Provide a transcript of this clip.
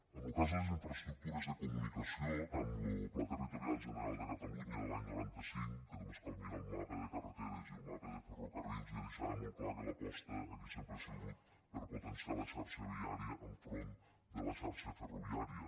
en lo cas de les infraestructures de comunicació tant lo pla territorial general de catalunya de l’any noranta cinc que només cal mirar el mapa de carreteres i el mapa de ferrocarrils ja deixava molt clar que l’aposta aquí sempre ha sigut per potenciar la xarxa viària enfront de la xarxa ferroviària